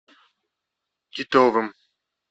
титовым